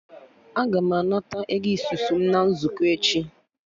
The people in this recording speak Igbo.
Aga m anata Ego isusu m na nzukọ echi